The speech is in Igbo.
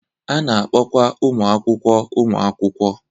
A na-akpọkwa ụmụ akwụkwọ ụmụ akwụkwọ.